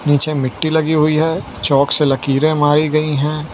नीचे मिट्टी लगी हुई है चौक से लकीरें मारी गई है।